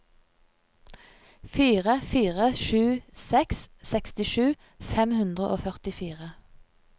fire fire sju seks sekstisju fem hundre og førtifire